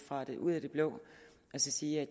frem ud af det blå og sige at